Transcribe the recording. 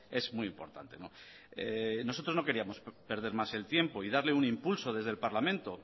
es muy importante nosotros no queríamos perder más el tiempo y darle un impulso desde el parlamento